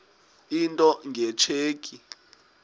into nge tsheki